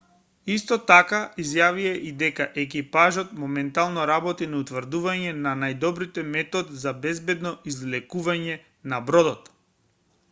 исто така изјавија и дека екипажот моментално работи на утврдување на најдобриот метод за безбедно извлекување на бродот